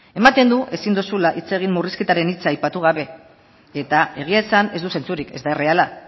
ematen du ezin duzula hitz egin murrizketaren hitza aipatu gabe eta egia esan ez du sentsurik ez da erreala